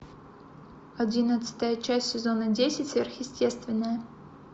одиннадцатая часть сезона десять сверхъестественное